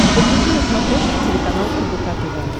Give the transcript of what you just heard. загрузи на смотрешке телеканал рбк тв